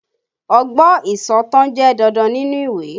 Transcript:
Ọgbọ́n ìsọ̀tàn jẹ́ dandan nínú ìwé